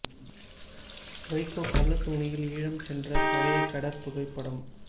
வை கோ கள்ளத் தோணியில் ஈழம் சென்ற பழைய கடற் புகைப்படம்